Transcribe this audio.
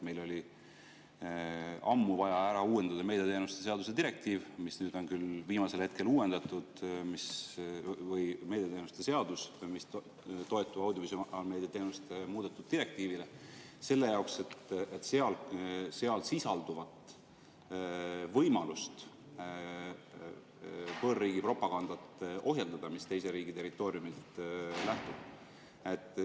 Meil oli ammu vaja ära uuendada meediateenuste seadus – see on küll viimasel hetkel uuendatud –, mis toetub audiovisuaalmeedia teenuste muudetud direktiivile, selle jaoks, et seal sisalduvat võimalust ohjeldada võõrriigi propagandat, mis teise riigi territooriumilt lähtub.